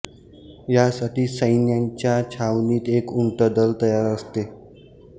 या साठी सैन्याच्या छावणीत एक उंटदल तयार असते